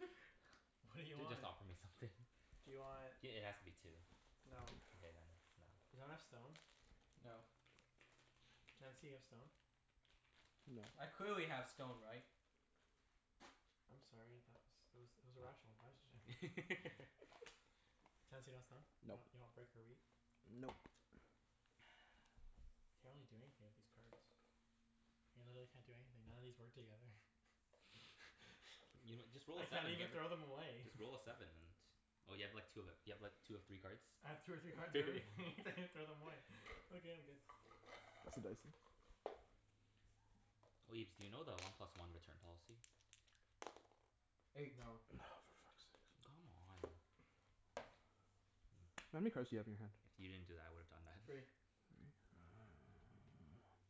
What do you J- just want? offer me something. Do you want I- it has to be two. No. Okay then, no. Does anyone have stone? No. Chancey, you have stone? No. I clearly have stone, right? I'm sorry, that was, it was it was a rational question. What? Chancey, you got stone? You want you Nope. want brick or wheat? Nope. I can't really do anything with these cards. I literally can't do anything. None of these work together. You know, just roll I a can't seven, you even get throw w- them away. Just roll a seven and Oh, you have like two of ev- you have like two of three cards? I have two or three cards of everything. I can't even throw them away. Okay, I'm good. Pass the dice then. Oh, Ibs, do you know the one plus one return policy? Eight. No. For fuck's sakes. Come on. Mm. How many cards do you have in your hand? If you didn't do that I would've done that. Three. Three?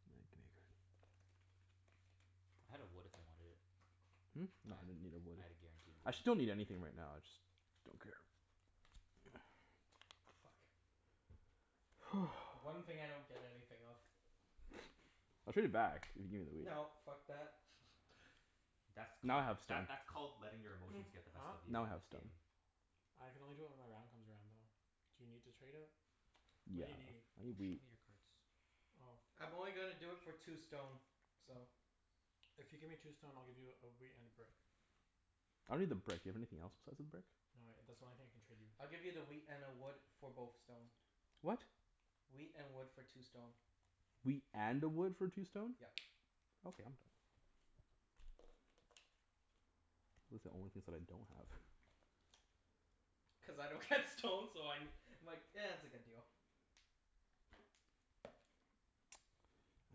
All right, gimme a card. I had a wood if you wanted it. Hmm? I No, ha- I didn't need a wood. I had a guaranteed I wood. actually don't need anything right now. I just don't care. Fuck. The one thing I don't get anything of. I'll trade it back if you gimme the wheat. No, fuck that. That's Now called, I have that stone. that's called letting your emotions get the best Huh? of you Now I in have this stone. game. I can only do it when my round comes around, though. Do you need to trade it? What Yeah. do you need? I need Don't show wheat. me your cards. Oh. I'm only gonna do it for two stone. So If you give me two stone I'll give you a wheat and a brick. I don't need the brick. Do you have anything else besides the brick? No, I, that's the only thing I can trade you. I'll give you the wheat and a wood for both stone. What? Wheat and wood for two stone. Wheat and a wood for two stone? Yep. Okay, I'm done. Those are the only things that I don't have. Cuz I don't get stone so I ne- I'm like, it's a good deal.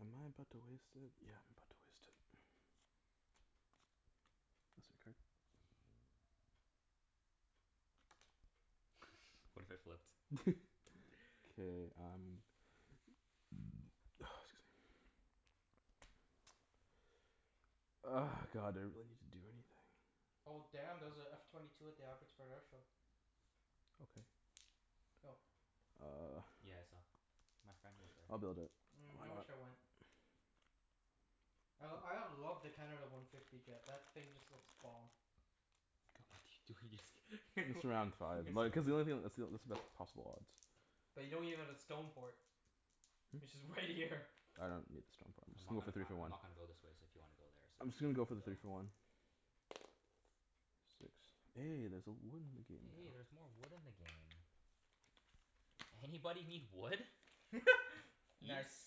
Am I about to waste it? Yeah, I'm about to waste it. Pass a card? What if I flipped? K, I'm Ah, excuse me. God, I don't really need to do anything. Oh damn, there's a F twenty two at the Abbotsford Air Show. Okay. Yo. Uh Yeah, I saw. My friend was there. I'll build it. Mm, Why I not? wish I went. I l- I love the Canada one fifty jet. That thing just looks bomb. What you do- Just around five. Like cuz the only thing, that's the onl- that's the best possible odds. But you don't even have a stone port. Which Hmm? is right here. I don't need the stone port. I'm I'm just not gonna go for gonna, three I for I'm one. not gonna go this way, so if you wanna go there I'm just gonna you go for can the three go. for one. Six. Hey, there's a wood in the game now. Hey, there's more wood in the game. Anybody need wood? Ibs? Nice.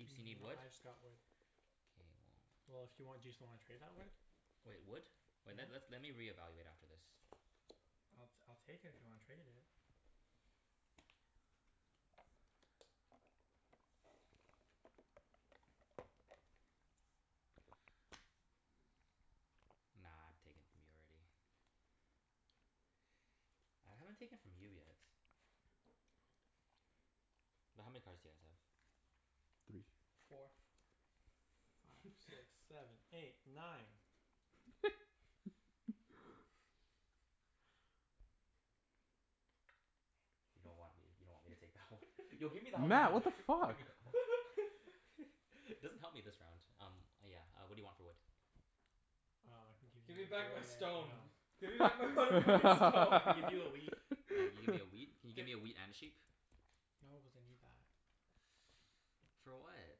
Ibs, you need though wood? I just got wood. K, well Well, if you want, do you still wanna trade that wood? Wait, wood? Wait, let's Yeah? let me reevaluate after this. I'll t- I'll take it if you wanna trade it. Nah, I've taken from you already. I haven't taken from you yet. But how many cards do you guys have? Three. Four. Five six seven eight nine. You don't want me, you don't want me to take that one? Yo, give me that one. Mat! What the Give fuck? me that one. It doesn't help me this round. Um, uh yeah, uh what do you want for wood? Um, I can give you Give me the, back my stone. no. Give me back my mother fucking I stone. can give you a wheat. Uh, you give me a wheat? Can you give me a Gi- wheat and a sheep? No, cuz I need that. For what?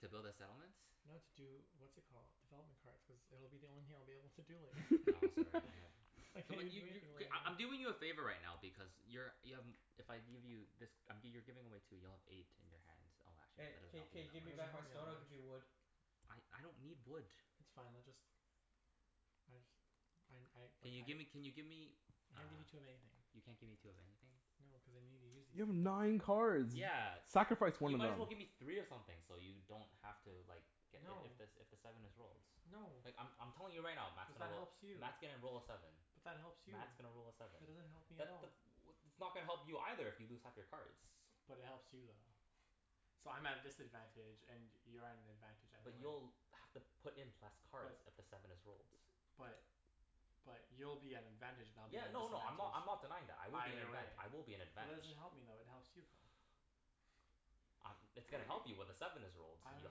To build a settlement? No, to do, what's it called? Development cards, cuz it'll be the only thing I'll be able to do later. No, sorry, I have I Come can't on, even you do you anything Okay, later. I I'm doing you a favor right now because you're y- um if I give you this um, g- you're giving away two. You'll have eight in your hands. Oh, actually, Hey, that doesn't k help k you That give me doesn't that much. back help my me stone, I'll give you that much. wood. I I don't need wood. It's fine, let just I just I n- I, like, Can you I gimme, can you give me I uh, can't give you two of anything. you can't give me two of anything? No, cuz I need to use these You have things. nine cards! Yeah. Sacrifice You one of might them. as well give me three of something so you don't have to like get if No. if the s- if the seven is rolled. No. Like, I'm I'm telling you right now, Mat's Cuz gonna that roll helps you. Mat's gonna roll a seven. But that helps you. Mat's gonna roll a seven. That doesn't help me at That the all. th- what that's not gonna help you either if you lose half your cards. But it helps you, though. So, I'm at a disadvantage and you're at an advantage either But way. you'll have to put in less But cards if the seven is rolled. But But you'll be at an advantage and I'll be Yeah, at a no no, I'm disadvantage. not, I'm not denying that. I will be in Either advantag- way. I will be in But that doesn't advantage. help me though. It helps you, though. I'm, it's gonna help you when the seven is rolled. I don't You'll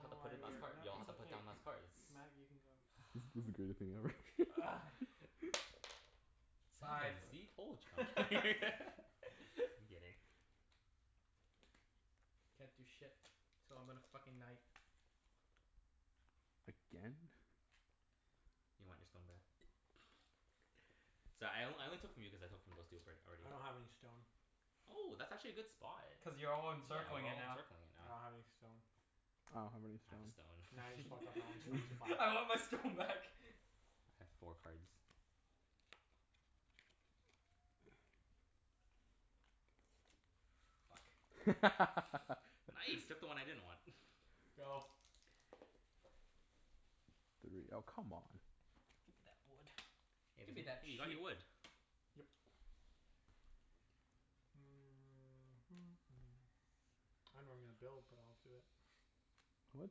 have know to put why in less we're, card, no, you'll have it's to put okay. down less cards. Mat, you can go. This this is greatest thing ever. Seven. Sive. See? Told y- I'm kidd- I'm kidding. Can't do shit, so I'm gonna fucking knight. Again? You want your stone back? Sorry, I on- I only took from you cuz I took from those two albr- I already. don't have any stone. Oh, that's actually a good spot. Cuz you're all Yeah, we're encircling it all now. encircling it I now. don't have any stone. I don't have any I have a stone. Now you just fucked up my only stone. stone supply. I want my stone back. I have four cards. Fuck. Nice! Took the one I didn't want. Go. Three. Oh, come on. Give me that wood. Hey Give me there's a, that hey, you got sheep. your wood. Yep. I dunno where I'm gonna build, but I'll do it. What?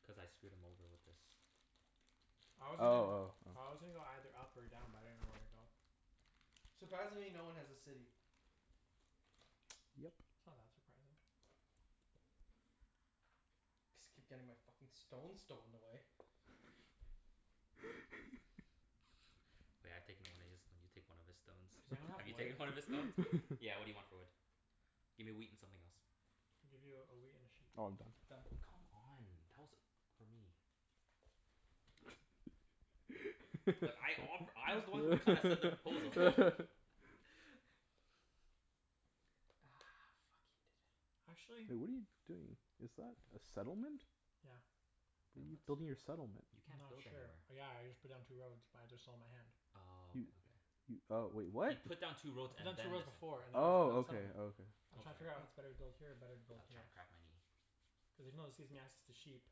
Cuz I screwed him over with this. I was Oh, oh, gonna go oh. I was gonna go either up or down, but I didn't know where to go. Surprisingly, no one has a city. Yep. It's not that surprising. Just keep getting my fucking stone stolen away. taken one of his, now you take one of his stones. Does anyone have Have you wood? taken one of his stones? Yeah, what do you want for wood? Give me wheat and something else. I'll give you a wheat and a sheep. Oh, I'm done. Done. Come on, tell us, for me. But I offe- I was the one who kinda said the proposal. Ah, fuck. He did it. Actually Hey, what are you doing? Is that a settlement? Yeah. A How are you what? building your settlement? You I'm can't not build sure. anywhere. Yeah, I just put down two roads, but I just sold my hand. Oh, You okay okay. You oh, wait. What? He put down two I roads put down and two then roads the set- before and now I'm building a Oh, okay. settlement. Okay. I'm I'm trying to sorry. figure out Oh. if it's better to build here or better to I was build trying here. to crack my knee. Cuz even though this gives me access to sheep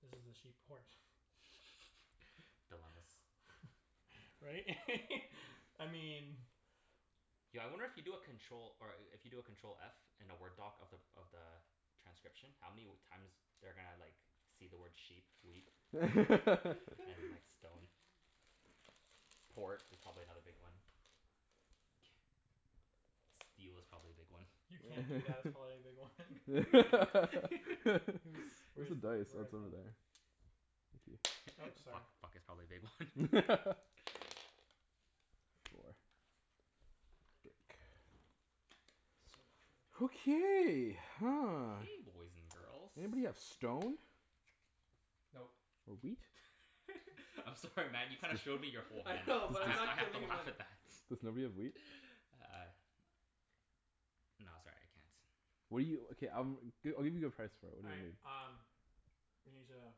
this is a sheep port. Dilemmas. Right? I mean Yo, I wonder if you do a control, or a- if you do a control f in a Word doc of the of the transcription, how many w- times they're gonna like see the word sheep, wheat and like stone? Port is probably another big one. Steel is probably a big one. You can't do that, it's probably a big one. Where's He's, where's the the, dice? Oh, where, it's over oh there. Thank you. Oops, Fuck, sorry. fuck is probably a big one. Four. Dirk. Jerk. So much wood. Okay, huh. Okay, boys and girls. Anybody have stone? Nope. Or wheat? I'm sorry Mat, you kinda showed me your whole I hand know, but I I'm have I not have to giving him laugh any. at that. Does nobody have wheat? Uh No, sorry. I can't. What do you, okay, um, g- I'll give you a good price for it. All What do you right, need? um we need to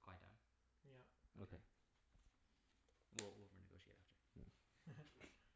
Quiet down? Yep. Mkay. Well, we'll renegotiate after. Yeah.